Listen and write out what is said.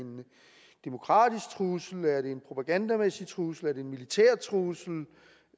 demokratisk trussel er det en propagandamæssig trussel er det en militær trussel